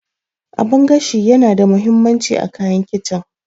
Abun gashi yana da mahimmanci a kayan kicin